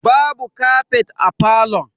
Babu kafet a falon.